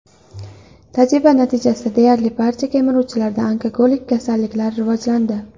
Tajriba natijasida deyarli barcha kemiruvchilarda onkologik kasalliklar rivojlandi.